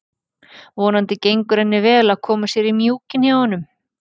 Vonandi gengur henni vel að koma sér í mjúkinn hjá honum.